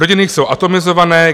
Rodiny jsou atomizované.